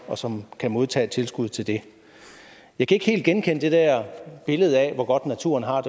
og som kan modtage tilskud til det jeg kan ikke helt genkende det der billede af hvor godt naturen har